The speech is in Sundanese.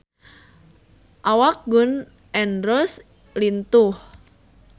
Awak Gun N Roses lintuh